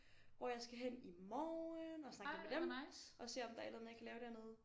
Hvor jeg skal hen i morgen og snakke lidt med dem og se om der er et eller andet jeg kan lave dernede